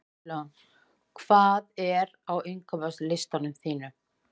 Edilon, hvað er á innkaupalistanum mínum?